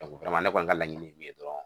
ne kɔni ka laɲini ye min ye dɔrɔn